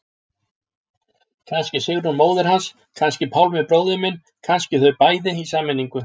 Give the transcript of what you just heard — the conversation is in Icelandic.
Kannski Sigrún móðir hans, kannski Pálmi bróðir minn, kannski þau bæði, í sameiningu.